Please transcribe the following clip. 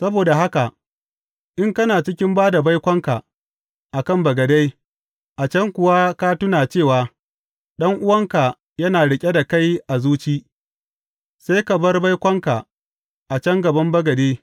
Saboda haka, in kana cikin ba da baikonka a kan bagade, a can kuwa ka tuna cewa ɗan’uwanka yana riƙe da kai a zuci, sai ka bar baikonka a can gaban bagade.